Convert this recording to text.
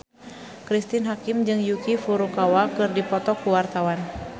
Cristine Hakim jeung Yuki Furukawa keur dipoto ku wartawan